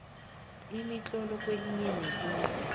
imitlolo kwelinye nelinye